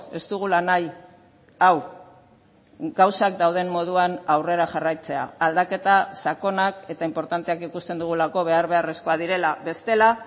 ez dugula nahi hau gauzak dauden moduan aurrera jarraitzea aldaketa sakonak eta inportanteak ikusten dugulako behar beharrezkoak direla bestela